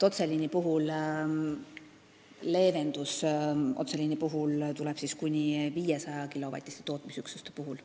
Otseliini puhul tuleb leevendus kuni 500-kilovatiste tootmisüksuste puhul.